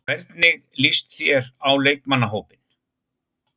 Hvernig lýst þér á leikmannahópinn?